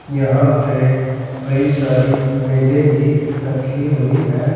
यहां पे कई सारी मेजे भी रखी हुई है।